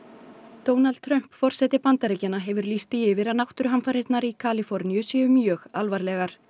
Donald Trump forseti Bandaríkjanna hefur lýst því yfir að náttúruhamfarirnar í Kaliforníu séu mjög alvarlegar